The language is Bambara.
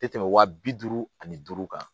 Tɛ tɛmɛ wa bi duuru ani duuru kan